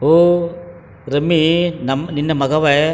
ಓ ರಮ್ಮಿ ನಮ್ಮ್ ನೀನ್ ಮಗವೇ --